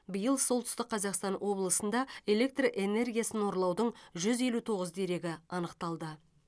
биыл солтүстік қазақстан облысында электр энергиясын ұрлаудың жүз елу тоғыз дерегі анықталды